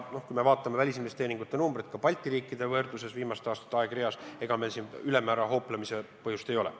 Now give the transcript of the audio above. Kui me vaatame välisinvesteeringute numbreid Balti riikide võrdluses viimaste aastate aegreas, siis ega meil erilist hooplemise põhjust ei ole.